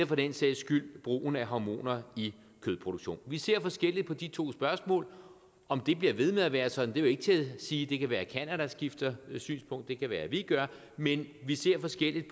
for den sags skyld brugen af hormoner i kødproduktionen vi ser forskelligt på de to spørgsmål om det bliver ved med at være sådan er ikke til at sige det kan være at canada skifter synspunkt det kan være at vi gør men vi ser forskelligt